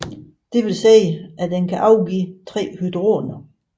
Dette vil sige at den kan afgive 3 hydroner